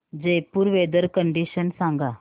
Jaipur weather condition सांगा